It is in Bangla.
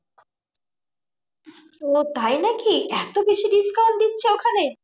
ওহ তাই নাকি? এত বেশি discount দিচ্ছে ওখানে?